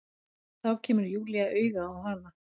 Þá kemur Júlía auga á hana.